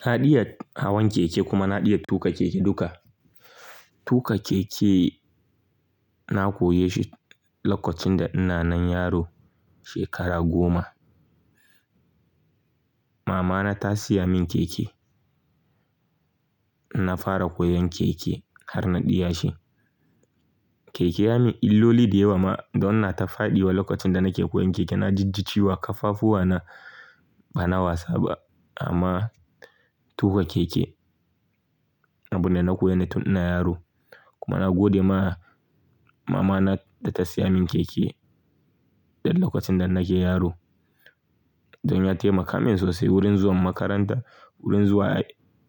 Na ɗiya hawan keke kuma na ɗiya tuƙa keke duka. Tuƙa keke na koye shi lokacin da ina nan yaro shekara goma. Mama na ta siya min keke. Na fara koyan keke har na ɗiya shi. Keke ya min illoli diyewa ma don na ta faɗiwa lokacin da nake koyan keke. Na jijji ciwo a kafafuwa na bana wasa ba amma tuƙa keke. Abin da na koya ne tun ina yaro kuma na gode ma mama na da ta siya min keke dan lokacin da nake yaro. Don ya taimaka min sosai wurin zuwan makaranta, wurin zuwa